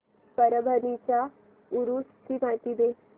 परभणी च्या उरूस ची माहिती दे